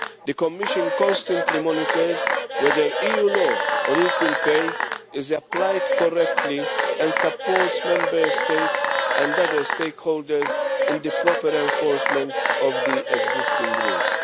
The Commission constantly monitors whether EU law on equal pay is applied correctly and supports Member States and other stakeholders in the proper enforcement of the existing rules.